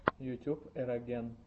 ютюб эроген